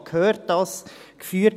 «Ich habe gehört, dass …».